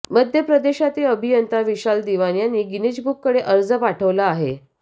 मध्य प्रदेशातील अभियंता विशाल दिवान यांनी गिनीज बुककडे अर्ज पाठवला आहे